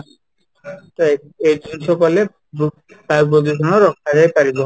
ତ ଏ ଏଇ ଜିନିଷ କଲେ ବୃକ୍ଷ ବାୟୁ ପ୍ରଦୂଷଣ ରୋକାଯାଇପାରିବ